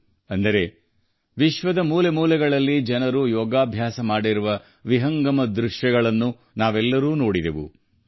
ಅಂದರೆ ವಿಶ್ವದ ಮೂಲೆ ಮೂಲೆಯಲ್ಲಿ ಯೋಗ ಮಾಡುವ ಜನರ ವಿಹಂಗಮ ನೋಟಗಳನ್ನು ನಾವೆಲ್ಲರೂ ಕಣ್ತುಂಬಿಕೊಂಡಿದ್ದೇವೆ